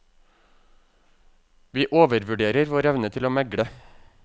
Vi overvurderer vår evne til å megle.